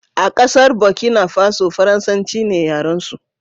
a kasar Burkina Faso, farasanci ne yaransu